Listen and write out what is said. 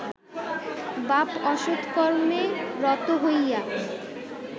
বাপ অসৎ কর্মে রত হইয়া